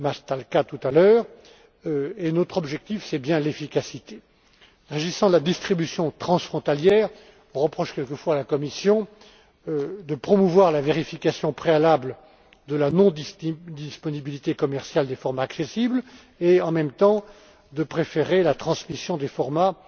Maštálka, tout à l'heure, et notre objectif, c'est bien l'efficacité. S'agissant de la distribution transfrontalière, on reproche quelquefois à la Commission de promouvoir la vérification préalable de la non disponibilité commerciale des formats accessibles et, en même temps, de préférer la transmission des formats